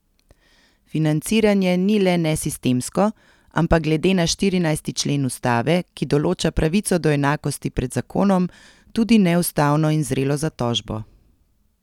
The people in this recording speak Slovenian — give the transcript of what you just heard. Financiranje ni le nesistemsko, ampak glede na štirinajsti člen ustave, ki določa pravico do enakosti pred zakonom, tudi neustavno in zrelo za tožbo.